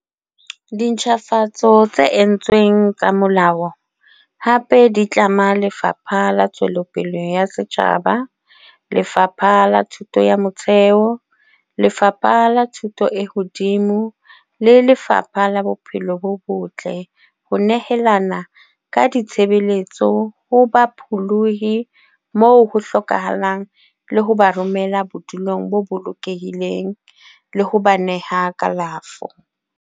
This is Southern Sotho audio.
Dintjhafatso tse entsweng tsa molao hape di tlama Lefapha la Ntshetsopele ya Setjhaba, Lefapha la Thuto ya Motheo, Lefapha la Thuto e Hodimo le Lefapha la Bophelo bo Botle ho nehelana ka ditshebeletso ho bapholohi moo ho hlokahalang le ho ba romela bodulong bo bolokehileng le ho ba nehela kalafo.